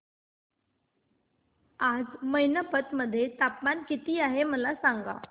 आज मैनपत मध्ये तापमान किती आहे मला सांगा